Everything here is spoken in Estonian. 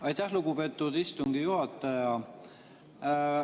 Aitäh, lugupeetud istungi juhataja!